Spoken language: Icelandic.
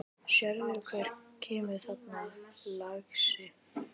Sérðu hver kemur þarna, lagsi?